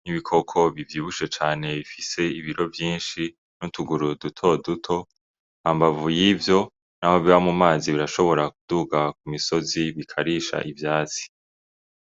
nk'ibikoko bivyibushe cane bifise ibiro vyinshi n' utuguru duto duto hambavu yivyo naho biba mu mazi birashobora kuduga ku misozi bikarisha ivyatsi.